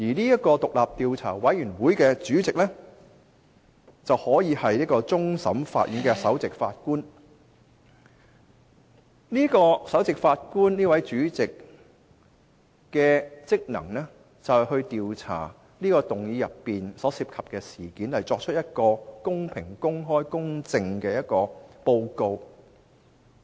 有關獨立調查委員會的主席可由終審法院首席法官出任，負責調查議案所涉及的事宜，以擬定公平、公開、公正的報告。